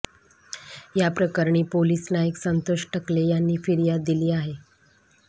याप्रकरणी पोलीस नाईक संतोष टकले यांनी फिर्याद दिली आहे